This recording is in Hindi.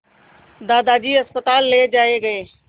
दादाजी अस्पताल ले जाए गए